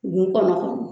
Nun kɔnɔ